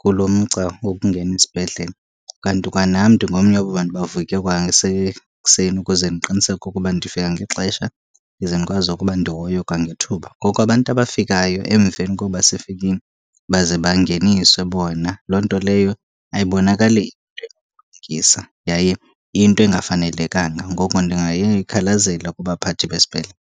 kulo mgca wokungena isibhedlele. Kanti kwanam ndingomnye wabo bantu bavuke kwasekuseni ukuze ndiqiniseke ukuba ndifika ngexesha ize ndikwazi ukuba ndihoywe kwangethuba. Ngoku abantu abafikayo emveni koba sifikile baze bangeniswe bona loo nto leyo ayibonakali yaye iyinto engafanelekanga, ngoko ndingayoyikhalazela kubaphathi besibhedlele.